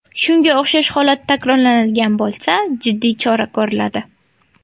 Shunga o‘xshash holat takrorlanadigan bo‘lsa jiddiy chora ko‘riladi.